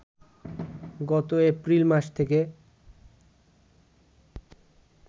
গত এপ্রিল মাস থেকে